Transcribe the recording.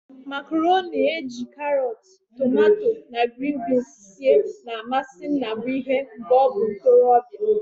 Makaroni ejiri karot, tomato na grin binz sie na-amasi Nnabuihe mgbe o bu ntorobia.